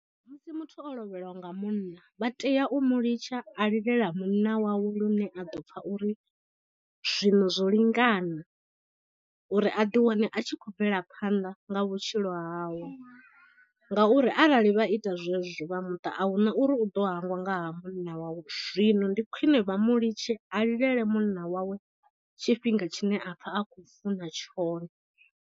Musi muthu o lovheliwa nga munna vha tea u mu litsha a lilela munna wawe lune a ḓo pfha uri zwino zwo lingana uri a ḓi wane a tshi khou bvela phanḓa nga vhutshilo hawe. Ngauri arali vha ita zwezwo vha muṱa ahuna uri u ḓo hangwa nga ha munna wawe zwino ndi khwine vha mu litshe a lilele munna wawe tshifhinga tshine a pfha a khou funa tshone.